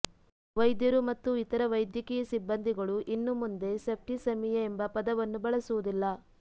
ವೈದ್ಯರು ಮತ್ತು ಇತರ ವೈದ್ಯಕೀಯ ಸಿಬ್ಬಂದಿಗಳು ಇನ್ನು ಮುಂದೆ ಸೆಪ್ಟಿಸೆಮಿಯಾ ಎಂಬ ಪದವನ್ನು ಬಳಸುವುದಿಲ್ಲ